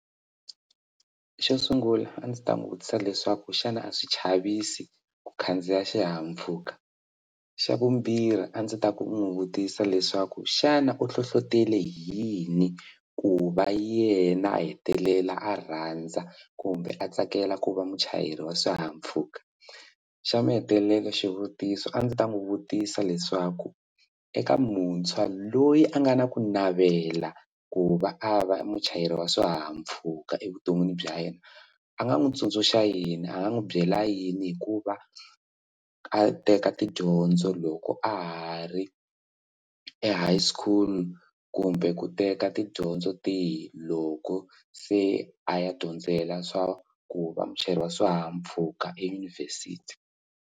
Xo sungula a ndzi ta n'wi vutisa leswaku xana a swi chavisi ku khandziya xihahampfhuka, xa vumbirhi a ndzi ta ku n'wi vutisa leswaku xana u nhlohletele hi yini ku va yena a hetelela a rhandza kumbe a tsakela ku va muchayeri wa swihahampfhuka xa mahetelelo xivutiso a ndzi ta n'wi vutisa leswaku eka muntshwa loyi a nga na ku navela ku va a va muchayeri wa swihahampfhuka evuton'wini bya yena a nga n'wi tsundzuxa yini a nga n'wi byela yini hikuva a teka tidyondzo loko a ha ri e-high school kumbe ku teka tidyondzo tihi loko se a ya dyondzela swa ku va muchayeri wa swihahampfhuka eYunivhesiti?